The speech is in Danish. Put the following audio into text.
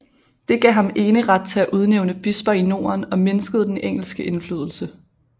Det gav ham eneret til at udnævne bisper i Norden og mindskede den engelske indflydelse